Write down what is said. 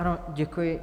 Ano, děkuji.